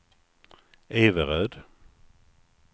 Everöd